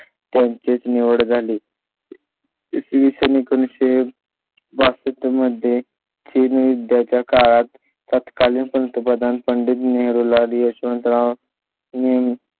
त्यांची निवड झाली . इसवी सन बासष्ट मध्ये चीन युद्धा च्या काळात तत्कालीन पंतप्रधान पंडित नेहरू लाल यशवंतराव मी.